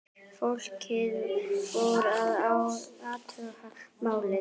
Fólkið fór að athuga málið.